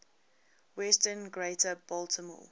western greater baltimore